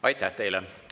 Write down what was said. Aitäh teile!